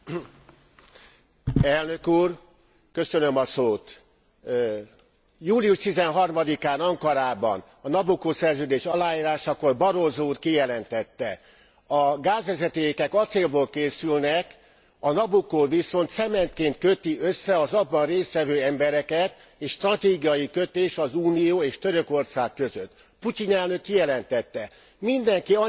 Július 13 án Ankarában, a Nabucco szerződés aláírásakor Barroso úr kijelentette, a gázvezetékek acélból készülnek, a Nabucco viszont cementként köti össze az abban részt vevő embereket, és stratégiai kötés az Unió és Törökország között. Putyin elnök kijelentette, mindenki annyi rozsdás vascsövet fektet a földbe, amennyit akar, csak legyen mit beletöltenie.